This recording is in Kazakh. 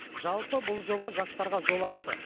жалпы бұл жоба жастарға жол ашты